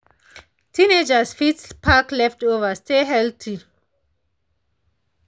teenagers fit pack leftover stay healthy.